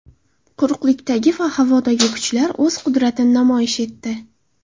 Quruqlikdagi va havodagi kuchlar o‘z qudratini namoyish etdi.